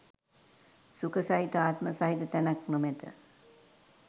සුඛ සහිත ආත්ම සහිත තැනක් නොමැත.